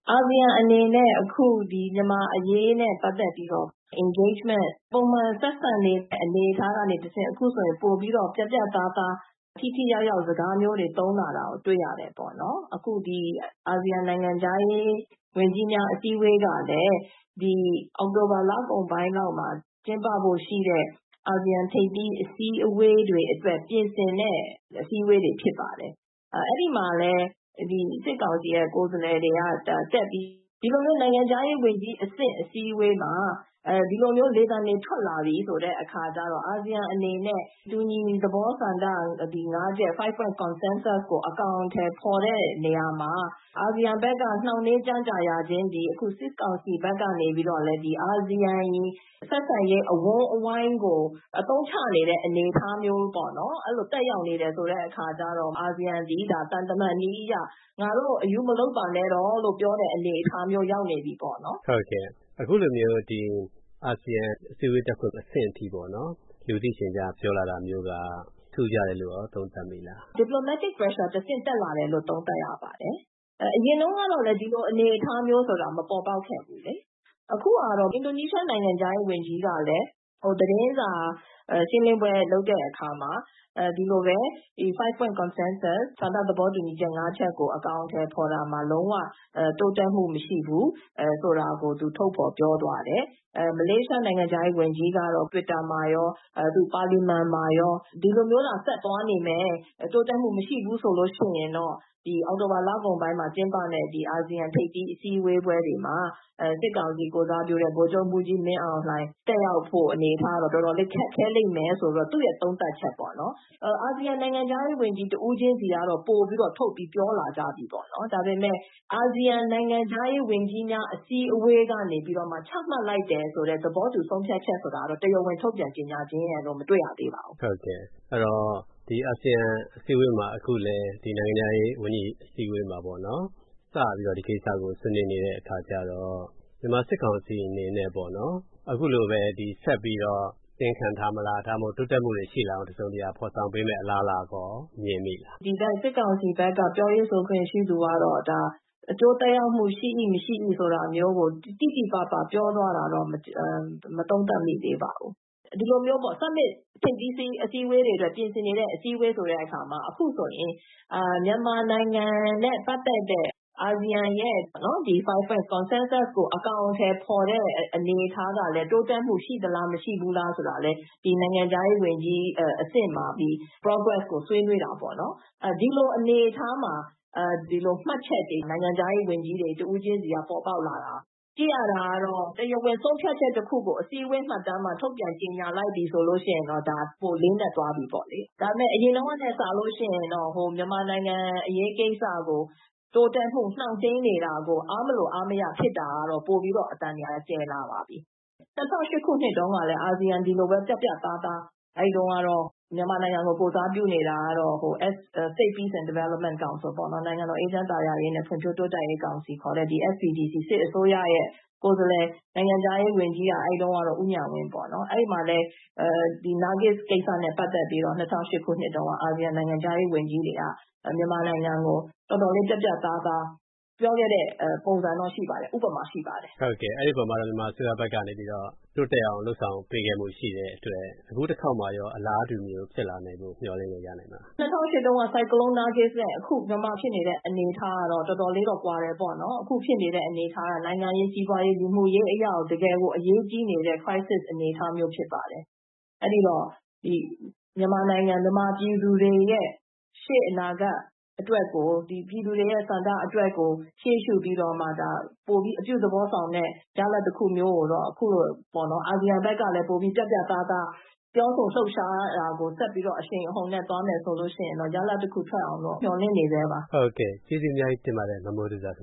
အာဆီယံအနေနဲ့ အခု မြန်မာ့အရေးနဲ့ပတ်သက်ပြီးတော့ engagement - ပုံမှန်ဆက်ဆံနေတဲ့အနေအထားကနေတဆင့် အခုဆိုရင် ပိုပြီးတော့ ပြတ်ပြတ်သားသား ထိထိရောက်ရောက် စကားမျိုးတွေ သုံးလာတာကို တွေ့ရတယ်ပေါ့နော်။ အခု ဒီ အာဆီယံနိုင်ငံခြားရေးဝန်ကြီးများ အစည်းအဝေးကလည်း အောက်တိုဘာလကုန်ပိုင်းလောက်မှာ ကျင်းပဖို့ရှိတဲ့ အာဆီယံထိပ်သီး အစည်းအဝေးတွေအတွက် ပြင်ဆင်တဲ့ အစည်းအဝေးတွေ ဖြစ်ပါတယ်။ အဲဒီမှာလည်း စစ်ကောင်စီရဲ့ကိုယ်စားလှယ်တွေက တက်ပြီး ဒီလိုမျိုး နိုင်ငံခြားရေးဝန်ကြီးအဆင့် အစည်းအဝေးမှာ ဒီလိုမျိုး လေသံတွေ ထွက်လာပြီဆိုတဲ့အခါကျတော့ အာဆီယံအနေနဲ့ တူညီသဘောဆန္ဒငါးချက် "5 points consensus" ကို အကောင်အထည်ဖော်တဲ့နေရာမှာ အာဆီယံဘက်က နှောင့်နှေးကြန့်ကြာရခြင်းသည် အခု စစ်ကောင်စီဘက်ကနေပြီးတော့လည်း အာဆီယံ ဆက်ဆံရေး အဝန်းအဝိုင်းကို အသုံးချနေတဲ့အနေအထားမျိုးပေါ့နော်...အဲလို သက်ရောက်နေတဲ့အခါကျတော့ အာဆီယံသည် သံတမန်နည်းအရ “ငါတို့ကို အရူးမလုပ်ပါနဲ့တော့”...လို့ ပြောတဲ့အနေအထားမျိုး ရောက်နေပြီပေါ့နော်။ ဟုတ်ကဲ့၊ အခုလိုမျိုး အာဆီယံအစည်းအဝေးတက်ဖို့ အဆင့်အထိပေါ့နော်-လူသိရှင်ကြား ပြောလာတာမျိုးက ထူးခြားတယ်လို့ကော သုံးသပ်မိလား။ Deplomatic pressure တဆင့်တက်လာတယ်လို့ သုံးသပ်ရပါတယ်။ အရင်တုန်းကတော့ ဒီလိုအနေအထားမျိုးဆိုတာ မပေါ်ပေါက်ခဲ့ဘူးလေ။ အခုကတော့ အင်ဒိုနီးရှားနိုင်ငံခြားရေး ဝန်ကြီးကလည်း သတင်းစာရှင်းလင်းပွဲလုပ်တဲ့အခါမှာ ဒီလိုပဲ "5 points consensus" ဆန္ဒသဘောတူညီချက် ငါးချက်ကို အကောင်အထည်ဖော်တာမှာ လုံးဝ တိုးတက်မှုမရှိဘူး ဆိုတာကို သူထုတ်ဖော်ပြောသွားတယ်။ မလေးရှားနိုင်ငံခြားရေးဝန်ကြီးကတော့ တွစ်တာမှာရော၊ ပါလီမန်မှာရော “ဒီလိုမျိုးသာ ဆက်သွားနေမယ်၊ တိုးတက်မှုမရှိဘူးဆိုလို့ရှိရင်တော့ အောက်တိုဘာလကုန်ပိုင်းမှာကျင်းပမယ့် အာဆီယံထိပ်သီး အစည်းအဝေးပွဲတွေမှာ စစ်ကောင်စီကိုယ်စားပြုတဲ့ ဗိုလ်ချုပ်မှူးကြီးမင်းအောင်လှိုင် တက်ရောက်ဖို့အနေအထားကတော့ တော်တော်လေးခက်ခဲလိမ့်မယ်”...ဆိုပြီးတော့ သူ့ရဲ့သုံးသပ်ချက်ပေါ့နော်-....အာဆီယံနိုင်ငံခြားရေး ဝန်ကြီး တဦးချင်းစီကတော့ ပိုပြီးတော့ ထုတ်ပြီးပြောလာကြပြီပေါ့နော်။ ဒါပေမယ့် အာဆီယံနိုင်ငံခြားရေး ဝန်ကြီးများ အစည်းအဝေးကနေပြီးတော့မှ ချမှတ်လိုက်တယ်ဆိုတဲ့ သဘောတူဆုံးဖြတ်ချက်ဆိုတာတော့ တရားဝင် ထုတ်ပြန်ကြေညာခြင်းရယ်လို့ မတွေ့ရသေးပါဘူး။ ဟုတ်ကဲ့၊ အဲဒီတော့ အာဆီယံအစည်းအဝေးမှာ - ဒီနိုင်ငံခြားရေးဝန်ကြီးအစည်းအဝေးမှာပေါ့နော်- ဒီကိစ္စကို စပြီးဆွေးနွေးနေတဲ့အခါကျတော့ မြန်မာ့စစ်ကောင်စီအနေနဲ့ပေါ့နော်၊ အခုလိုပဲ ဆက်ပြီးတော့ တင်းခံထားမလား၊ ဒါမှမဟုတ် တိုးတက်မှုတွေရှိလာအောင် တစုံတရာ ဖော်ဆောင်ပေးမယ့်အလားအလာကော မြင်မိလား။ စစ်ကောင်စီဘက်က ပြောရေးဆိုခွင့်ရှိသူကတော့ ဒါ အကျိုးသက်ရောက်မှု ရှိ၏၊ မရှိ၏.. ဆိုတာမျိုးကို တိတိပပပြောသွားတာမျိုးတော့ မသုံးသပ်မိသေးပါဘူး။ ဒီလိုမျိုးပေါ့၊ Summit ထိပ်သီးအစည်းအဝေးတွေအတွက် ပြင်ဆင်နေတဲ့အစည်းအဝေးဆိုတဲ့အခါမှာ အခုဆိုရင် မြန်မာနိုင်ငံနဲ့ပတ်သက်တဲ့ အာဆီယံရဲ့ "5 points consensus" ကို အကောင်အထည်ဖော်တဲ့အနေအထားကလည်း တိုးတက်မှု ရှိသလား၊ မရှိဘူးလားဆိုတာကလည်း နိုင်ငံခြားရေးဝန်ကြီးအဆင့်မှာ progress ကိုဆွေးနွေးတာပေါ့နော်။ ဒီလိုအနေအထားမှာ နိုင်ငံခြားရေးဝန်ကြီးတွေတဦးချင်းစီက မှတ်ချက်တွေ ပေါ်ပေါက်လာတာ...ကြည့်ရတာကတော့ တရားဝင်ဆုံးဖြတ်ချက်တခုကို အစည်းအဝေးမှတ်တမ်းမှာ ထုတ်ပြန်ကြေညာလိုက်ပြီဆိုလို့ရှိရင်တော့ ဒါက ပိုလေးနက်သွားပြီပေါ့လေ။ ဒါပေမယ့် အရင်တုန်းကနဲ့စာလို့ရှိရင်တော့ မြန်မာနိုင်ငံအရေးကိစ္စကို တိုးတက်မှု နှောင့်နှေးနေတာကို အားမလိုအားမရဖြစ်တာကတော့ အသံတွေက ပိုပြီးကျယ်လာပါပြီ။...၂၀၀၈ ခုနှစ်တုန်းကလည်း ဒီလိုပဲ၊ အာဆီယံက ပြတ်ပြတ်သားသား...အဲဒီတုန်းကတော့ မြန်မာနိုင်ငံကို ကိုယ်စားပြုနေတာကတော့ State Peace and Development Council ပေါ့နော်- “နိုင်ငံတော် အေးချမ်းသာယာရေးနဲ့ဖွံ့ဖြိုးတိုးတက်ရေးကောင်စီ” ခေါ်တဲ့ SPDC စစ်အစိုးရရဲ့ကိုယ်စားလှယ်၊ အဲဒီတုန်းက နိုင်ငံခြားရေးဝန်ကြီးကတော့ ဦးဉာဏ်ဝင်းပေါ့နော်။ အဲဒီမှာလည်း နာဂစ်ကိစ္စနဲ့ပတ်သက်ပြီးတော့ ၂၀၀၈ နှစ်တုန်းက အာဆီယံနိုင်ငံခြားရေးဝန်ကြီးတွေက မြန်မာနိုင်ငံကို တော်တော်လေး ပြတ်ပြတ်သားသား ပြောခဲ့တဲ့ပုံစံတော့ ရှိပါတယ်။ ဥပမာ ရှိပါတယ်။ ဟုတ်ကဲ့၊ အဲဒီအပေါ်မှာ မြန်မာအစိုးရဘက်ကနေပြီးတော့ တိုးတက်အောင်လုပ်ဆောင်မှု ပေးခဲ့မှုရှိခဲ့တဲ့အတွက် အခုတခေါက်မှာရော အလားတူ ဖြစ်လာစေဖို့ မျှော်လင့်လို့ရနိုင်ပါ့မလား။ ၂၀၀၈ တုန်းက ဆိုင်ကလုံး နာဂစ်နဲ့ အခု မြန်မာဖြစ်နေတဲ့အနေအထားကတော့ တော်တော်လေးတော့ ကွာတယ်ပေါ့နော်။ အခုဖြစ်နေတဲ့အနေအထားက နိုင်ငံရေး၊ စီးပွါးရေး၊ လူမှုရေးအရကို တကယ်ကို အရေးကြီးနေတဲ့ crisis အနေအထားမျိုးဖြစ်ပါတယ်။ အဲဒီတော့ မြန်မာနိုင်ငံ...မြန်မာပြည်သူတွေရဲ့ ရှေ့အနာဂတ်အတွက်ကို၊ ပြည်သူတွေရဲ့ဆန္ဒအတွက်ကို ရှေ့ရှုပြီးတော့မှ ပိုပြီးအပြုသဘောဆောင်တဲ့ ရလဒ်တခုမျိုးကိုတော့ အခုလို အာဆီယံဘက်ကလည်း ပိုပြီး ပြတ်ပြတ်သားသား ပြောဆိုလှုပ်ရှားတာကို ဆက်ပြီးအရှိန်အဟုန်နဲ့သွားမယ်ဆိုလို့ရှိရင်တော့ ရလာဒ်တခုထွက်အောင်တော့ မျှော်လင့်နေဆဲပါ။ ဟုတ်ကဲ့၊ ကျေးဇူးအများကြီးတင်ပါတယ်၊ မမိုးသူဇာခင